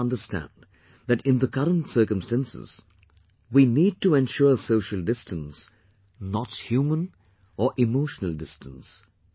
We need to understand that in the current circumstances, we need to ensure social distance, not human or emotional distance